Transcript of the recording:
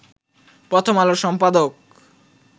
প্রথম আলোর সম্পাদক